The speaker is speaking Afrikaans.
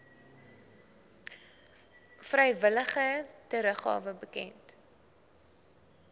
vrywillige teruggawe bekend